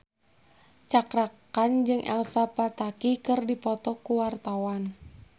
Cakra Khan jeung Elsa Pataky keur dipoto ku wartawan